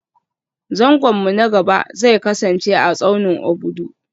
Zangon mu na gaba zai kasance a tsaunin Obudu